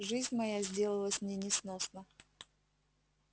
жизнь моя сделалась мне несносна